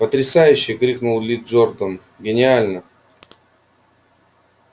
потрясающе крикнул ли джордан гениально